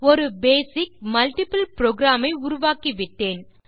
ஒரு basic multiple program ஐ உருவாக்கிவிட்டேன்